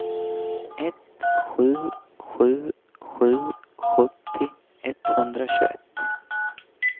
ett sju sju sju sjuttio etthundratjugoett